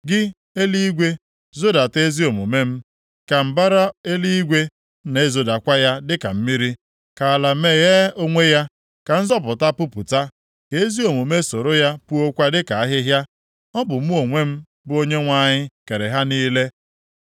“Gị, eluigwe, zodata ezi omume m ka mbara eluigwe na-ezodakwa ya dịka mmiri. Ka ala meghee onwe ya, ka nzọpụta pupụta, ka ezi omume soro ya puokwa dịka ahịhịa. Ọ bụ mụ onwe m, bụ Onyenwe anyị kere ha niile.